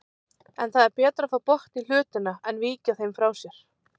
En það er betra að fá botn í hlutina en víkja þeim frá sér.